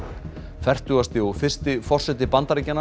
fertugasti og fyrsti forseti Bandaríkjanna